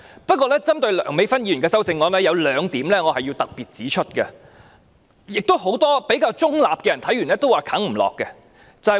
不過，針對梁美芬議員的修正案，有兩點我要特別指出，亦是很多比較中立的議員看了後表示未能接受的原因。